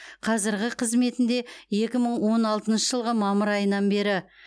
қазіргі қызметінде екі мың он алтыншы жылғы мамыр айынан бері